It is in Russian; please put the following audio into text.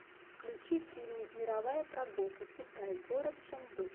включи фильмик мировая прогулка китай город ченду